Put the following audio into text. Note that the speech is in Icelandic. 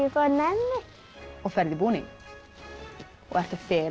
fæ nammi og ferð í búning ertu að fela